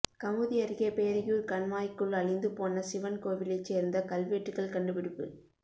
கமுதி அருகே பேரையூர் கண்மாய்க்குள் அழிந்து போன சிவன் கோவிலைச் சேர்ந்த கல்வெட்டுகள் கண்டுபிடிப்பு